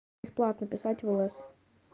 бесплатно писать в лс